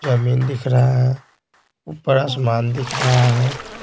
जमीन दिख रहा है ऊपर आसमान दिख रहा है।